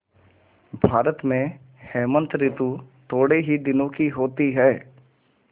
भारत में हेमंत ॠतु थोड़े ही दिनों की होती है